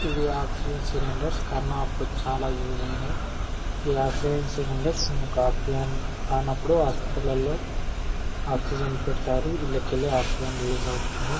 ఇవి oxygen cylinder corona అప్పుడు చాలా యూస్ ఐనవి. ఈ ఆక్సిజన్ సిలిండర్ మనకు ఆక్సిజన్ కానీ ఆపుడు హాస్పిటల్ లలో ఆక్సిజన్ పెటతారు ఇలాకాలో ఆక్సిజన్ రిలీజ్ అవుతుంది.